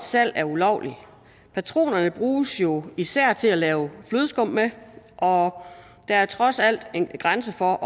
salg er ulovligt patronerne bruges jo især til at lave flødeskum med og der er trods alt en grænse for